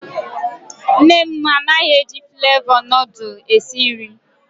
Nne m anaghị eji flevọ nudul esi nri.